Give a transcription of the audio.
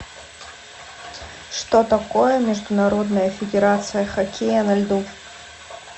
что такое международная федерация хоккея на льду